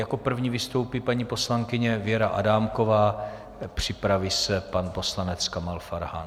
Jako první vystoupí paní poslankyně Věra Adámková, připraví se pan poslanec Kamal Farhan.